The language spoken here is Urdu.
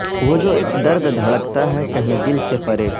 وہ جو اک درد دھڑکتا ہے کہیں دل سے پرے